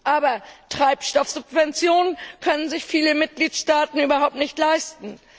Aber Treibstoffsubventionen können sich viele Mitgliedstaaten überhaupt nicht leisten.